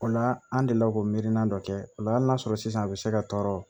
O la an delila k'o mirinna dɔ kɛ o la hali n'a sɔrɔ sisan a bɛ se ka tɔɔrɔ